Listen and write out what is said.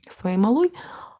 своей малой